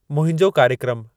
मुंहिंजो कार्यक्रमु